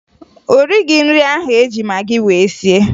O righi nri ahụ e ji magị wee sie